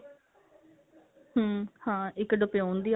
hm ਹਾਂ ਇੱਕ ਦੇਪਿਉਣ ਦੀ ਆ